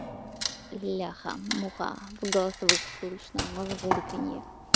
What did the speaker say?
бляха-муха в голосовых слышно мурлыканье